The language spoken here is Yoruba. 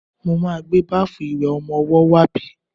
Mo ma gbé báfù ìwẹ̀ ọmọwọ́ wá bí.